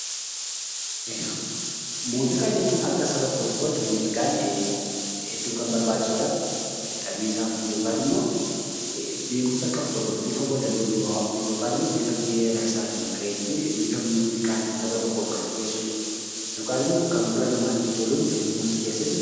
Muuziqaa jechuun akka Saba tokkootti muuziqaan hedduu kan barbaachisuu dha. Taphiisaaf yookin immoo bifa walaloon yookiin immoo geerarsaatiin bareechee bifa muuziqaatiin saba tokkoof kan dhiyeessu yookiin immoo kan gurra namaatti tolu dhiyeessuu dha.